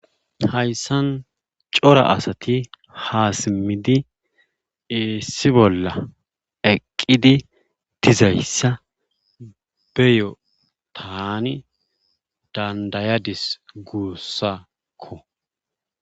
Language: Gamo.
hayssan cora asati haasimidi iissi bolla eqqidi dizayssa beyo taani dandayadis guussakko